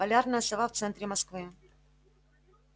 полярная сова в центре москвы